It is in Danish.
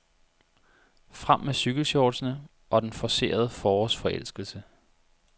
Frem med cykelshortsene og den forcerede forårsforelskelse.